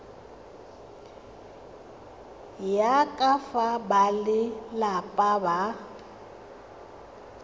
ya ka fa balelapa ba